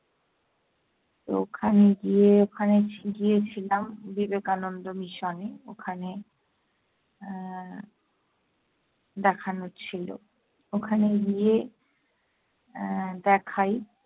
তো ওখানে গিয়ে ওখানে ছি~ গিয়েছিলাম বিবেকানন্দ mission এ। ওখানে আহ দেখানোর ছিলো। ওখানে গিয়ে আহ দেখাই।